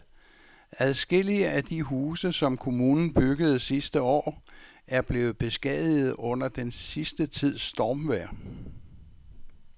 Adskillige af de huse, som kommunen byggede sidste år, er blevet beskadiget under den sidste tids stormvejr.